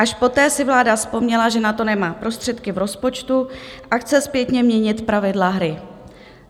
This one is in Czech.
Až poté si vláda vzpomněla, že na to nemá prostředky v rozpočtu, a chce zpětně měnit pravidla hry.